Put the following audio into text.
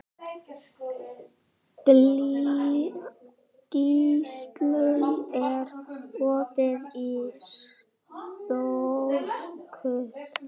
Gíslunn, er opið í Stórkaup?